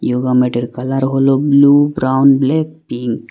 Yoga ম্যাটের colour হল blue brown black pink.